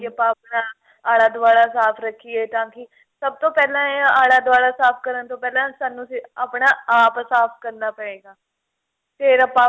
ਆਪਾਂ ਆਪਣਾ ਆਲਾ ਦਵਾਲਾ ਸਾਫ਼ ਰੱਖੀਏ ਤਾਂਕਿ ਸਭ ਤੋਂ ਪਹਿਲਾ ਇਹ ਆਲਾ ਦਵਾਲਾ ਸਾਫ਼ ਕਰਨ ਤੋਂ ਪਹਿਲਾ ਸਾਨੂੰ ਆਪਣਾ ਆਪ ਸਾਫ਼ ਕਰਨਾ ਪਏਗਾ ਫੇਰ ਆਪਾਂ